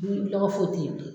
Ni lɔgɔ fo ye ten yen bilen